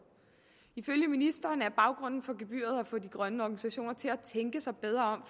ifølge ministeren er baggrunden for gebyret at få de grønne organisationer til at tænke sig bedre